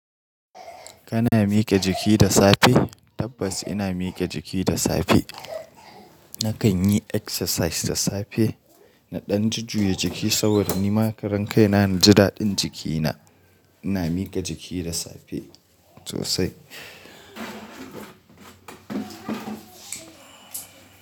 Kana mike jiki da safe? Tabbas ina mike jiki da safe. Nakan yi exercise da safe. Na ɗan jujjuya jiki saboda nima karan kaina na in ji da din jikina. Ina mike jiki da safe sosai.